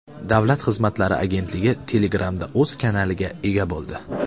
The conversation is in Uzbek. Davlat xizmatlari agentligi Telegram’da o‘z kanaliga ega bo‘ldi.